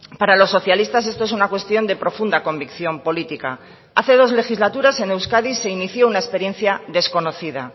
para los socialistas esto es una cuestión de profunda convicción política hace dos legislaturas en euskadi se inició una experiencia desconocida